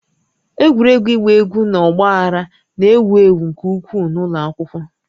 Egwuregwu ịgba egwu na ọgba aghara na-ewu ewu nke ukwuu n'ụlọ akwụkwọ